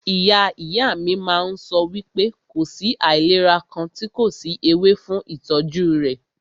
Ìyá ìyá mí máà ń sọ wípé kò sí àìlera kàn tí kò sí ewé fún ìtọ́jú rẹ̀.